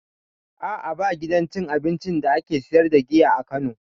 A'a ba gidan cin abincin da ake siyar da giya a kano